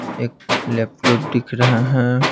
एक लैपटॉप दिख रहा है।